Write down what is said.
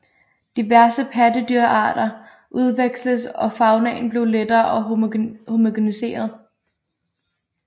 Diverse pattedyrarter udveksledes og faunaen blev lettere homogeniseret